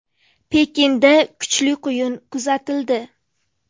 Pekinda kuchli quyun kuzatildi.